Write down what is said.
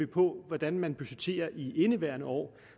på hvordan man budgetterer i indeværende år